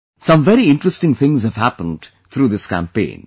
Some very interesting things have happened through this campaign